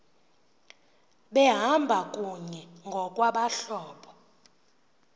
behamba kunye ngokwabahlobo